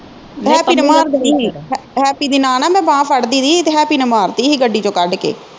happy ਨੇ ਮਾਰ ਦੇਣੀ ਹੀ ਹੈਪੀ ਦਾ ਨਾ ਨਾ ਮੈਂ ਬਾਂਹ ਫੜਦੀ ਤੇ ਹੈਪੀ ਨੇ ਮਾਰ ਤੀ ਹੀ ਗੱਡੀ ਵਿਚੋਂ ਕੱਢ ਕੇ